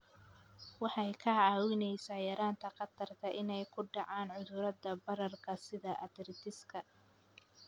Waxay kaa caawinaysaa yaraynta khatarta ah inay ku dhacaan cudurrada bararka sida arthritis-ka.